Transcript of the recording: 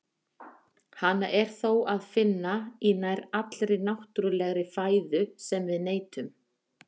Hana er þó að finna í nær allri náttúrulegri fæðu sem við neytum.